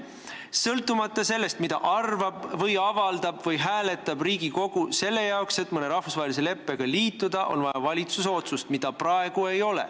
Sõltumata sellest, mida arvab või avaldab või kuidas hääletab Riigikogu, on selle jaoks, et mõne rahvusvahelise leppega liituda, vaja valitsuse otsust, mida praegu ei ole.